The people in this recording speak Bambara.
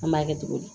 An b'a kɛ cogo di